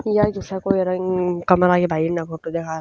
या जीसा कोई रंग कमरा की भाई इणनह फोटो दिखा।